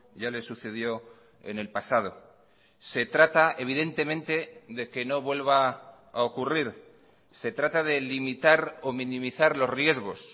ya le sucedió en el pasado se trata evidentemente de que no vuelva a ocurrir se trata de limitar o minimizar los riesgos